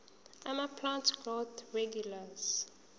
amaplant growth regulators